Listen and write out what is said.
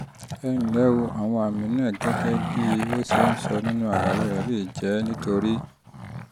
ẹ ǹlẹ́ o àwọn àmì náà gẹ́gẹ́ um bí o ṣe sọ nínú àlàyé rẹ lè àlàyé rẹ lè jẹ́ nítorí: 1